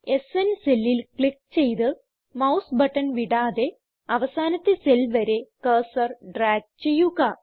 സ്ന് സെല്ലിൽ ക്ലിക്ക് ചെയ്ത് mouse button വിടാതെ അവസാനത്തെ സെൽ വരെ കഴ്സർ ഡ്രാഗ് ചെയ്യുക